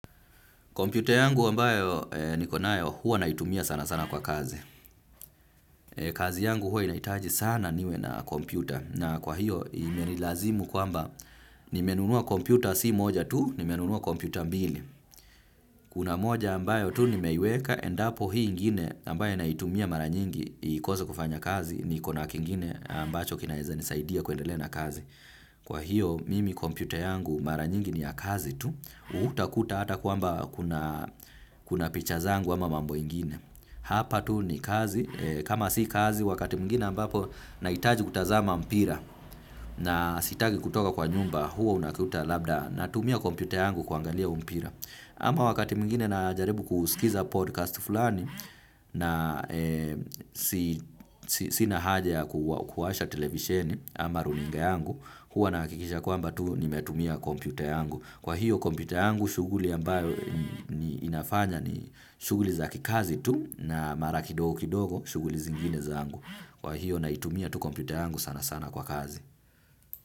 Kompyuta yangu ambayo niko nayo huwa naitumia sana sana kwa kazi. Kazi yangu huwa inahitaji sana niwe na kompyuta. Na kwa hiyo imenilazimu kwamba nimenunua kompyuta si moja tu, nimenunua kompyuta mbili. Kuna moja ambayo tu nimeiweka endapo hii ingine ambayo naitumia mara nyingi ikose kufanya kazi, niko na kingine ambacho kinaeza nisaidia kuendelea na kazi. Kwa hiyo mimi kompyuta yangu mara nyingi ni ya kazi tu, hutakuta ata kwamba kuna picha zangu ama mambo ingine. Hapa tu ni kazi, kama si kazi wakati mwingine ambapo nahitaji kutazama mpira na sitaki kutoka kwa nyumba huwa unakuta labda natumia kompyuta yangu kuangalia mpira. Ama wakati mwingine najaribu kusikiza podcast fulani na sina haja ya kuwasha televisheni ama runinga yangu, huwa nahakikisha kwamba tu nimetumia computer yangu. Kwa hiyo kompyuta yangu, shughuli ambayo inafanya ni shughuli za kikazi tu na mara kidogo kidogo shughuli zingine zangu. Kwa hiyo naitumia tu kompyuta yangu sana sana kwa kazi.